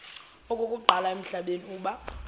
okokuqala emhlabeni uba